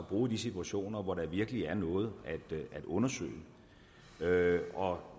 bruge i de situationer hvor der virkelig er noget at undersøge og